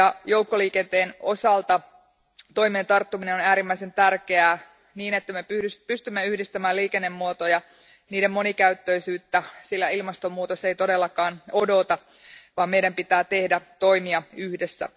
Joukkoliikenteen osalta toimeen tarttuminen on äärimmäisen tärkeää, niin että me pystymme yhdistämään liikennemuotoja ja niiden monikäyttöisyyttä, sillä ilmastonmuutos ei todellakaan odota, vaan meidän pitää tehdä toimia yhdessä.